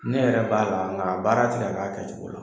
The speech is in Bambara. Ne yɛrɛ b'a la nka a baara ti ka k'a kɛcogo la.